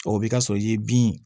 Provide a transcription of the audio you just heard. O bɛ ka sɔrɔ i ye bin